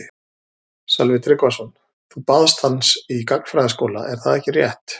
Sölvi Tryggvason: Þú baðst hans í gagnfræðaskóla er það ekki rétt?